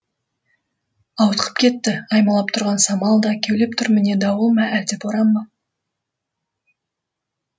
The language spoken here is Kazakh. ауытқып кетті аймалап тұрған самал да кеулеп тұр міне дауыл ма әлде боран ба